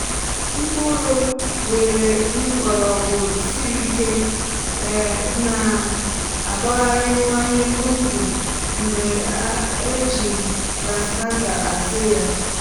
mkpụrụ nwéré mgbọrọgwụ siri ike um na-agbariwanye ndụ mgbe a ji transplanter hazie ya